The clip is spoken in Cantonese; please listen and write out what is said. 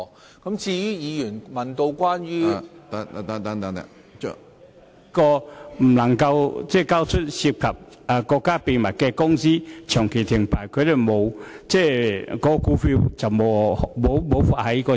有公司由於未能交出涉及國家機密的帳目而遭長期停牌，無法在市場上出售股票套現。